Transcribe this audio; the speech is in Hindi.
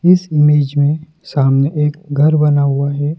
इस इमेज में सामने एक घर बना हुआ है।